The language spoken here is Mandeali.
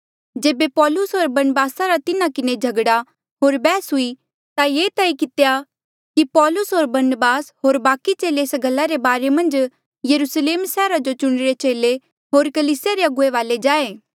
जेबे पौलुस होर बरनबासा रा तिन्हा किन्हें झगड़ा होर बैहस हुई ता ये तय कितेया कि पौलुस होर बरनबास होर बाकि चेले एस गल्ला रे बारे मन्झ यरुस्लेम सैहरा जो चुणिरे चेले होर कलीसिया रे अगुवे वाले जाए